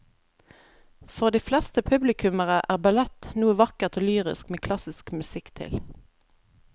For de fleste publikummere er ballett noe vakkert og lyrisk med klassisk musikk til.